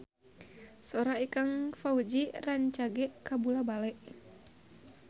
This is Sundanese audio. Sora Ikang Fawzi rancage kabula-bale